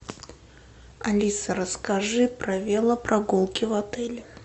алиса расскажи про велопрогулки в отеле